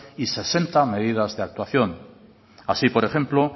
y sesenta medidas de actuación así por ejemplo